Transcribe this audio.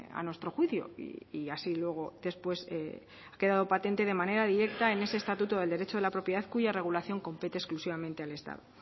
a nuestro juicio y así luego después ha quedado patente de manera directa en ese estatuto del derecho de la propiedad cuya regulación compete exclusivamente al estado